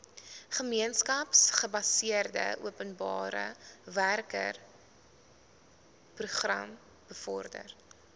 gemeenskapsgebaseerde openbarewerkeprogram bevorder